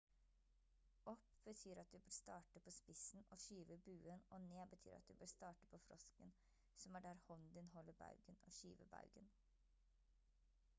opp betyr at du bør starte på spissen og skyve buen og ned betyr at du bør starte på frosken som er der hånden din holder baugen og skyve baugen